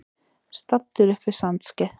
Staddur upp við Sandskeið.